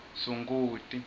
sunguti